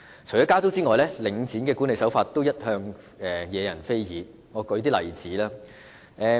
除了加租外，領展的管理手法一向惹人非議，讓我列舉一些例子。